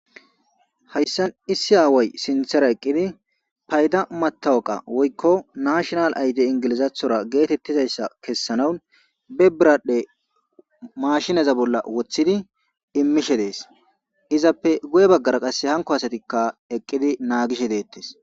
Haysan issi away sinthara eqidi payda mataqa woyko national ld egzathora getetizaysa kesanaw be biradhe mashineza bolla wothidi imishe desizape guye bagara hako asatika eqidi nagishe detes